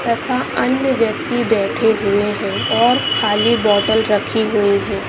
तथा अन्य व्यक्ति बैठे हुए हैं और खाली बोतल रखी हुई है|